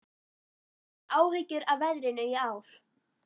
Hafið þið áhyggjur af veðrinu í ár?